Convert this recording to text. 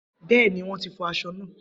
Bẹẹni, wọn ti fọ aṣọ naa.